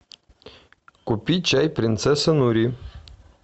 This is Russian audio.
купи чай принцесса нури